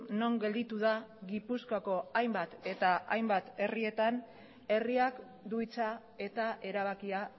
non gelditu da gipuzkoako hainbat eta hainbat herrietan herriak du hitza eta erabakia